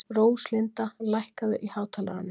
Róslinda, lækkaðu í hátalaranum.